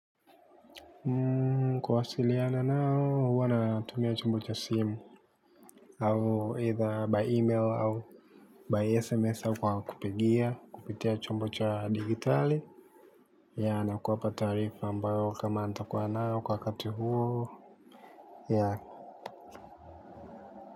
Kuwasiliana nao, huwa natumia chombo cha simu au either by email au by SMS au kwa kupigia kupitia chombo cha digitali. Yeah na kuwapa taarifa ambayo kama nitakuwa nayo kwa wakati huo yeah.